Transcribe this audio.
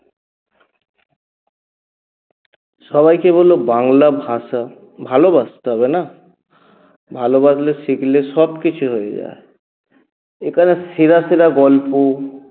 সবাইকে বল বাংলা ভাষা ভালোবাসতে হবে না? ভালোবাসলে শিখলে সবকিছু হয়ে যায় এ কারণে সেরা সেরা গল্প